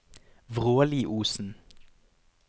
Vråliosen